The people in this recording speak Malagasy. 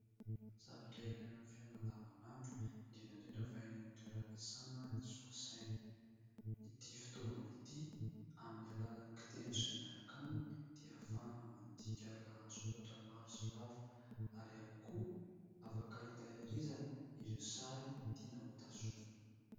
Zavatra ilaina amin'ny fiainana andavanandro, indrindra indrindra fa eny amin'ny toeram-piasana ny solosaina. Ity fitaovan' ity amin'ny alalan'ny kitendry izay miaraka aminy dia ahafahana mandinika lahatsoratra maro sy lava ary ihany koa afaka hitahirizana ireo sary tiana hotazomina.